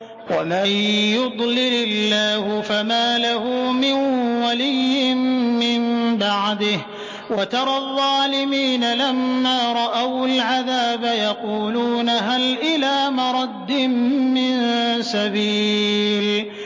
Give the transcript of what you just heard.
وَمَن يُضْلِلِ اللَّهُ فَمَا لَهُ مِن وَلِيٍّ مِّن بَعْدِهِ ۗ وَتَرَى الظَّالِمِينَ لَمَّا رَأَوُا الْعَذَابَ يَقُولُونَ هَلْ إِلَىٰ مَرَدٍّ مِّن سَبِيلٍ